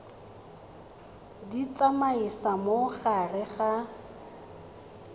di tsamaisa mo gare ga